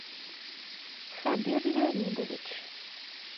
хабир леонидович